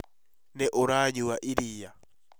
Nĩ ũranyua iria?